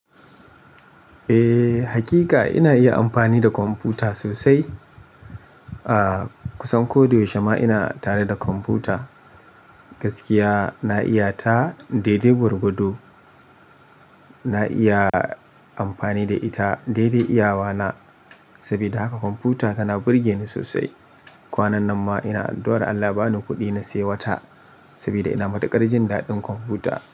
Eh, hakika ina iya amfani da kwamfuta sosai. Ah kusan ko da yaushe ma ina tare da kwamfuta. Gaskiya na iya ta daidai gwargwado. Na iya amfani da ita daidai iyawa na. Saboda haka kwamfuta tana burge ni sosai. Kwanan nan ma ina addu'ar Allah ba ni kuɗi na sai wa ta. Saboda ina matukar jin daɗin kwamfuta.